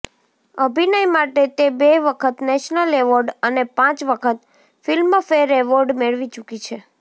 અભિનય માટે તે બે વખત નેશનલ એવોર્ડ અને પાંચ વખત ફિલ્મફેર એવોર્ડ મેળવી ચૂકી છે